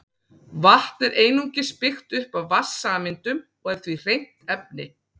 Vatn er einungis byggt upp af vatnssameindum og er því hreint efni.